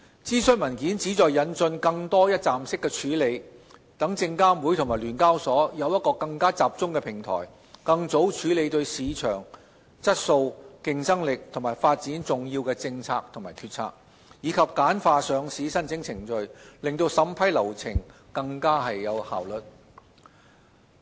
諮詢文件旨在引進更多一站式處理，讓證監會及聯交所有更集中的平台，更早處理對市場質素、競爭力及發展重要的政策及決策，以及簡化上市申請程序，令審批流程更有效率。